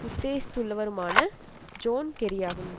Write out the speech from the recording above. உத்தேசித்துள்ளவருமான John கெரியாகும்